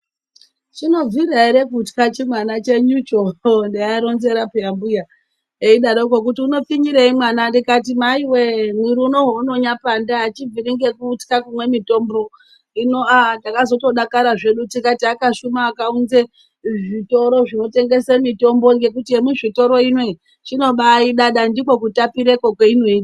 Chinobvira ere kutya chi mwana chenyucho hooo ndaa ronzera peya mbuya eidaroko kuti uno pfinyirei mwana ndikati maiwe mwiri unowu unonya panda achibviri nge kutya nekumwe mutombo hino aa takazoto dakara zvedu tikati akashuma akaunze zvitoro zvino tengese mitombo ngekuti ye muzvitoro inoyi chinobai ida dai ndiko kutapire kwo kweinoita.